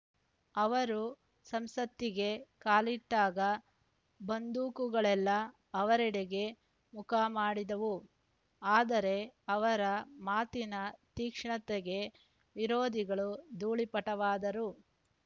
ಅವರು ಸಂಸತ್ತಿಗೆ ಕಾಲಿಟ್ಟಾಗ ಬಂದೂಕುಗಳೆಲ್ಲಾ ಅವರೆಡೆಗೇ ಮುಖಮಾಡಿದವು ಆದರೆ ಅವರ ಮಾತಿನ ತೀಕ್ಷಣತೆಗೆ ವಿರೋಧಿಗಳು ಧೂಳೀಪಟವಾದರು